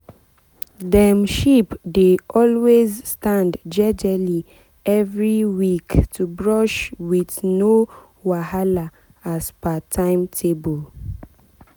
dem sheep dey always stand jejely every week to brush with no wahala as per timetable.